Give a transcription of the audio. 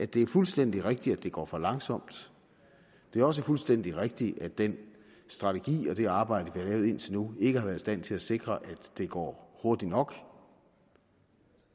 det er fuldstændig rigtigt at det går for langsomt det er også fuldstændig rigtigt at den strategi og det arbejde har lavet indtil nu ikke har været i stand til at sikre at det går hurtigt nok